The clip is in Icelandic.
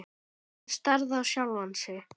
Hann starði á sjálfan sig.